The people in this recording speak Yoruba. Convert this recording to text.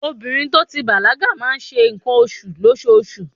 Obìnrin to ti bàlágà máa ń ṣe ǹkan oṣù lóṣoṣù.